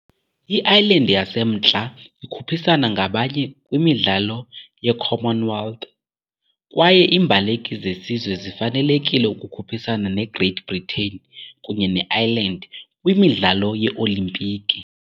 I-Ireland yaseMntla ikhuphisana ngabanye kwiMidlalo ye-Commonwealth, kwaye iimbaleki zesizwe zifanelekile ukukhuphisana ne -Great Britain kunye ne-Ireland kwiMidlalo yeOlimpiki.